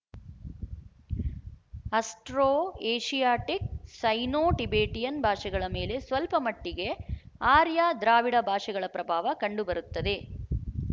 astro Asiatic Sino Tibetan ಭಾಷೆಗಳ ಮೇಲೆ ಸ್ವಲ್ಪ ಮಟ್ಟಿಗೆ ಆರ್ಯ ದ್ರಾವಿಡ ಭಾಷೆಗಳ ಪ್ರಭಾವ ಕಂಡು ಬರುತ್ತದೆ